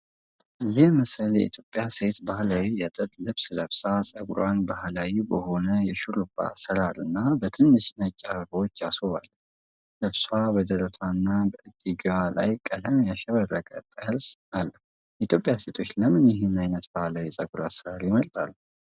ይህ ምስል የኢትዮጵያ ሴት ባህላዊ የጥጥ ልብስ ለብሳ፣ ፀጉሯን ባህላዊ በሆነ የሽሩባ አሠራርና በትንሽ ነጭ አበቦች አስውባለች። ልብሷ በደረት እና በእጅጌው ላይ ቀለም ያሸበረቀ ጠርዝ አለው። የኢትዮጵያ ሴቶች ለምን ይህንን ዓይነት ባህላዊ የፀጉር አሠራር ይመርጣሉ?